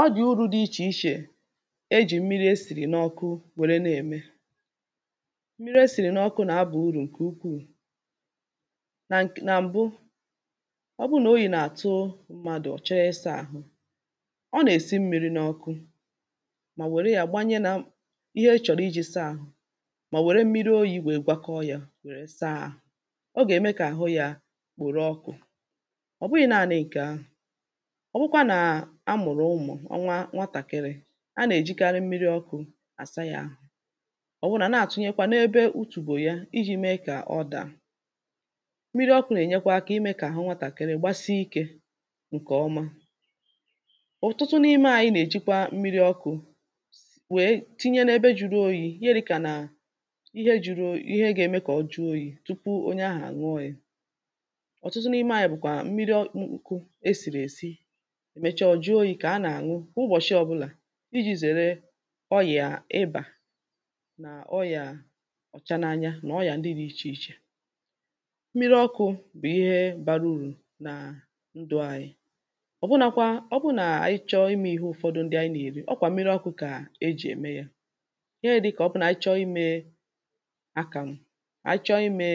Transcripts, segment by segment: ọ dị̀ urū dị ichè ichè, ejì mmiri esìrì n’ọkụ nwère na-ème. mmiri esìrì n’ọkụ na-aba urù ǹkè ukwuù nà ǹk nà m̀bụ ọ bụrụ nà oyī nà-àtụ m̄mādụ̀ ọ chọrọ ịsā àhụ ọ nà-èsi mmīrī n’ọ̄kụ̄ mà nwère yā gbanye na ihe ọ chọ̀rọ̀ ijī saa āhụ̄, mà nwère mmiri oyī nwèe gbakọ yā nwère saa āhụ̄ ọ gà-ème kà àhụ yā kpòro ọkụ̄ ọ̀ bụghị̄ naānị̄ ǹkè ahụ̀ ọ wụkwa nà amụ̀rụ ụmụ̀ ọnwa nwatàkịrị a nà-èjikarị mmiri ọkụ̄ àsa yā āhụ̄, ọ̀ wụnà nà-àtụnyekwa n’ebe utùbò ya ijī meē kà ọ dàa mmiri ọkụ̄ nà-ènyekwa akā imē kà àhụ nwatàkịrị gbásíkē ǹkè ọ́má. ọ̀tụtụ n’ime ānyị̄ nà-èjikwa mmiri ọkụ̄ nwèe tinye n’ebe jūrū oyī ihe dị̄kà nà ihe jūrū ōyi ihe gā-ēmē kà o juo oyī tupu onye ahụ̀ àñụọ yā ọ̀tụtụ n’ime ānyị̄ bụ̀kwà mmiri m mkụ̄ esìrì èsi mecha ọ̀ juo oyī kà a nà-àñụ ụbọ̀shị ọ̄bụ̄là ijī zère ọrịà ịbà nà ọrịà ọ̀cha na-anya nà ọrịà ndị dị̄ ichè ichè mmiri ọkụ̄ bụ̀ ihe bārā urù nà ndụ̀ anyị̄ ọ̀bụnākwā ọ bụrụ nà ànyị chọọ imē ihe ụ̄fọ̄dụ̄ ndị anyị nà-ème ọ kwà mmirī ọ̄kụ̄ kà ejì ème yā ihe dị̄kà ọ bụrụ nà ànyị chọọ imē àkàmụ̀, ànyị chọọ imē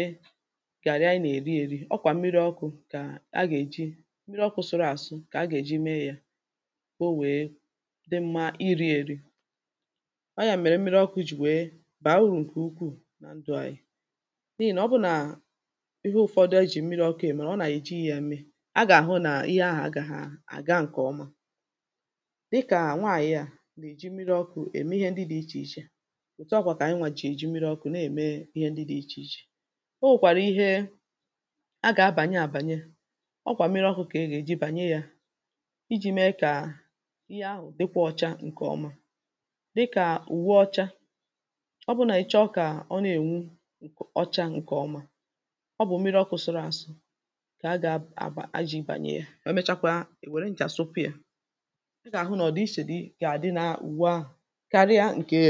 gàrị ànyị nà-èri ērī, ọ kwà mmiri ọkụ̄ kà ànyị gà-èji mmiri ọkụ̄ sụrụ àsụ kà ha gà-èji mee yā kà o nwèe dị mmā irī èri ọọ̀ ya mèrè mmiri ọkụ̄ jì nwèe bàa urù ǹkè ukwuù nà ndụ̀ anyị̄ n’ihì nà ọ bụrụ nà ihe ụ̀fọdụ ànyị jì mmirī ọkụ̄ ème ọ wụ nà ànyị ejīghī yā meē a gà-àhụ nà ihe ahà agāghā àga ǹkè ọma dịkà nwaànyị à nà-èji mmiri ọkụ̄ ème ihe ndị dị̄ ichè ichè, òtù ahụ̀ kwà kà ànyịnwà jì èji mmiri ọkụ̄ na-ème ihe ndị dị̄ ichè ichè o nwèkwàrụ̀ ihe a gà-abànye àbànye ọ kwà mmiri ọkụ̄ kà a gà-èji bànye yā ijī mee kà ihe ahụ̀ dịkwa ọ̄chā ǹkè ọma dịkà ùwe ọcha ọ bụrụ nà ị chọọ kà ọ na-ènwu ọcha ǹkè ọma ọ bụ̀ mmiri ọkụ̄ sụrụ àsụ kà a gā abà ajī bànye yā emechakwa èwère nchà sụpụ̄ yà ị gà-àhụ nà ọ̀dị̀ichè di gà-àdị nà ùwe ahụ̀ karịa ǹkè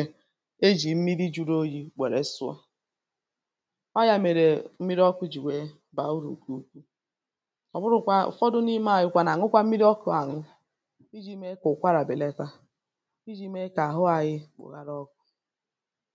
ejì mmiri jūrū oyī nwère sụọ ọọ̀ ya mèrè mmiri ọkụ̄ jì nwèe bàa urù ǹkè ukwuù ọ̀bụrụ̄kwā ụ̀fọdụ n’ime ānyị̄ kwā nà-àñụkwa mmiri ọkụ̄ àñụ ijī meē kà ụkwarà bèlata, ijī meē kà àhụ anyị̄ kpòhara ọkụ̄